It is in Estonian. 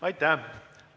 Aitäh!